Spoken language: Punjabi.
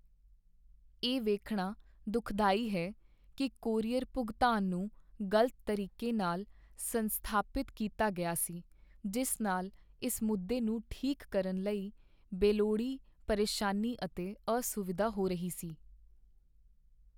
ਇਹ ਵੇਖਣਾ ਦੁਖਦਾਈ ਹੈ ਕੀ ਕੋਰੀਅਰ ਭੁਗਤਾਨ ਨੂੰ ਗ਼ਲਤ ਤਰੀਕੇ ਨਾਲ ਸੰਸਾਧਿਤ ਕੀਤਾ ਗਿਆ ਸੀ, ਜਿਸ ਨਾਲ ਇਸ ਮੁੱਦੇ ਨੂੰ ਠੀਕ ਕਰਨ ਲਈ ਬੇਲੋੜੀ ਪਰੇਸ਼ਾਨੀ ਅਤੇ ਅਸੁਵਿਧਾ ਹੋ ਰਹੀ ਸੀ।